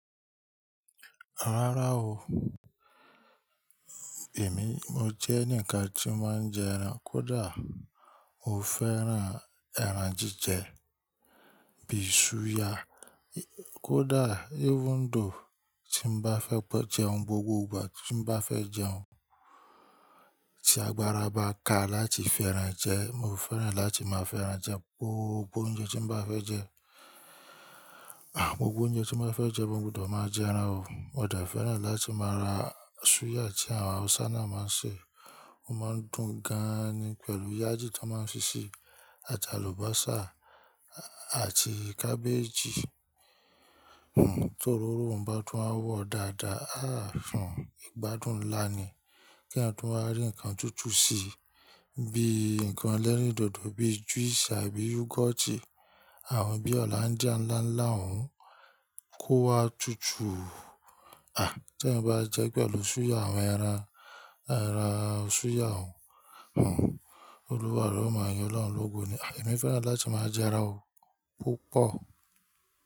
Rárá o, èmi mo jẹ́ enikan tí ó máa ń jẹ ẹran. Kódà mo fẹ́ran ẹran jíjẹ bí i súyà. Kódà even though tí n bá fẹ́ jẹun gbogbo ìgbà tí n bá fẹ́ jẹun, tí agbára bá ka láti fi ẹran jẹ, mo fẹ́ràn láti máa fi ẹran jẹ gbogbo oúnjẹ tí n bá fẹ́ jẹ. Ah, gbogbo oúnjẹ tí n bá fẹ́ jẹ, mo gbọdọ̀ máa jẹ ẹran o. Mo dẹ̀ fẹ́ràn láti máa ra súyà tí àwọn Hausa náà máa ń ṣe, ó máa ń dùn gan-an ni pẹ̀lú yájì ton máa ń fíṣi àti àlùbọ́sà àti cabbage Tòróró ń bá tún wa wọ̀ dáadáa, àà un ìgbádùn ńlá ni. Kí eyan tún wá rí ǹkan tútù si bí i ǹkan ẹlẹ́rìndòdò bíi juice àbí yogoti, àwọn bíi Hollandia ńlá ńlá, òun kó wa tutù. Ah, tí ẹyan bá jẹ pẹ̀lú súyà, àwọn ẹran, ẹran súyà òun, Olúwa re o máa yin olọ́hun lógún ni. Ah, èmi fẹ́ràn láti máa jẹ ẹran o púpọ̀.